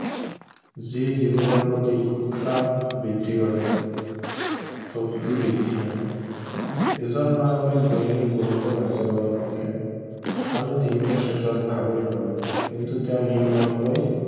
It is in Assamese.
যি জীৱনৰ প্ৰতি উৎসাহ বৃদ্ধি কৰে শক্তি বৃদ্ধি হয় যিজন মানুহে দৈনিক বহুতো কাৰ্যকলাপ কৰে আৰু দিনটোৰ শেষত ভাগৰি পৰে কিন্তু তেওঁ নিয়মীয়াকৈ